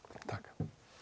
takk